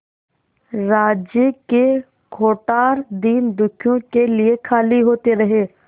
राज्य के कोठार दीनदुखियों के लिए खाली होते रहे